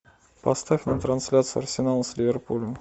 поставь нам трансляцию арсенала с ливерпулем